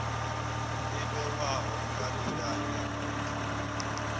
vhewaho nga milayo ya khothe